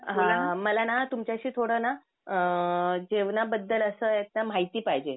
हं मला ना तुमच्याशी थोडं ना अअ जेवणाबद्दल असं एकदा माहिती पाहिजे.